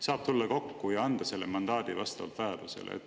Saab tulla kokku ja anda selle mandaadi vastavalt vajadusele.